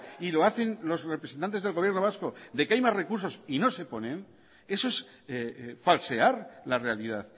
y lo hacen los representantes del gobierno vasco de que hay más recursos y no se ponen eso es falsear la realidad